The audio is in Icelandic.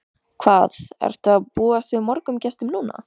Kjartan: Hvað ertu að búast við mörgum gestum núna?